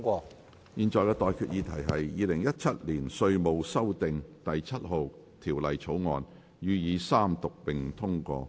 我現在向各位提出的待議議題是：《2017年稅務條例草案》予以三讀並通過。